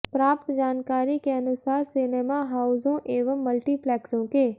प्राप्त जानकारी के अनुसार सिनेमा हाउसों एवं मल्टीप्लेक्सों के